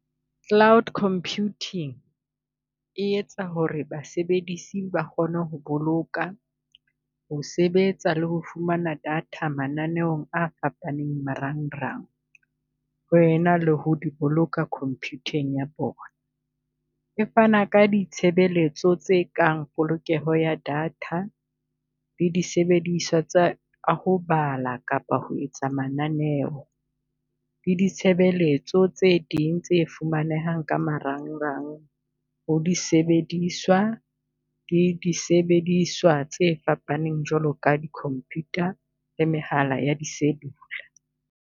Cloud computing e etsa ho re basebedisi ba kgone ho boloka, ho sebetsa le ho fumana data mananeong a fapaneng marang rang, ho ena le ho di boloka compute-ng ya bona. E fana ka ditshebeletso tse kang polokeho ya data, le disebediswa tsa ho bala kapa ho etsa mananeo le ditshebeletso tse ding tse fumanehang ka marang rang, ho di sebediswa le di disebediswa tse fapaneng jwalo ka di computer le mehala ya cellular.